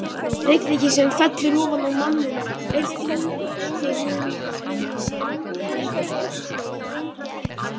Rigningin sem fellur ofan á manninn er því þeim mun minni sem hann hleypur hraðar.